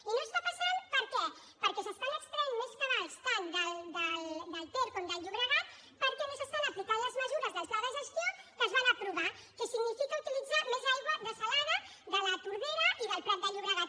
i no està passant per què perquè s’estan extraient més cabals tant del ter com del llobregat perquè no s’estan aplicant les mesures del pla de gestió que es van aprovar que signifiquen utilitzar més aigua dessalada de la tordera i del prat de llobregat